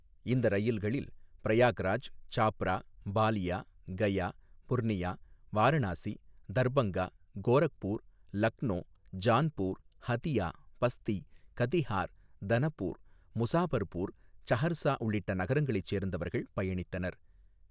இந்த ரயில்களில் பிரயாக்ராஜ், சாப்ரா, பாலியா, கயா, புர்னியா, வாரணாசி, தர்பங்கா, கோரக்பூர், லக்னோ, ஜான்பூர், ஹதியா, பஸ்தி, கதிஹார், தனபூர், முசாபர்பூர், சஹர்சா உள்ளிட்ட நகரங்களை சேர்ந்தவர்கள் பயணித்தனர்.